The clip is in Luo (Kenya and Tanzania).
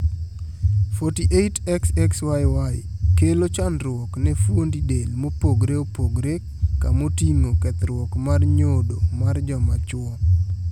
48,XXYY kelo chandruok ne fuondi del mopogre opogre kamoting`o kethruok mar nyodo mar jomachuo.